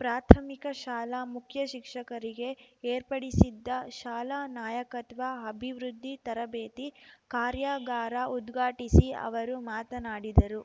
ಪ್ರಾಥಮಿಕ ಶಾಲಾ ಮುಖ್ಯಶಿಕ್ಷಕರಿಗೆ ಏರ್ಪಡಿಸಿದ್ದ ಶಾಲಾ ನಾಯಕತ್ವ ಅಭಿವೃದ್ಧಿ ತರಬೇತಿ ಕಾರ್ಯಾಗಾರ ಉದ್ಘಾಟಿಸಿ ಅವರು ಮಾತನಾಡಿದರು